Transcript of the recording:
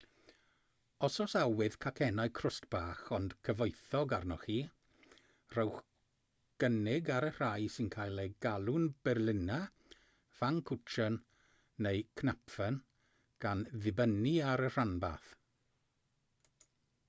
os oes awydd cacennau crwst bach ond cyfoethog arnoch chi rhowch gynnig ar y rhai sy'n cael eu galw'n berliner pfannkuchen neu knapfen gan ddibynnu ar y rhanbarth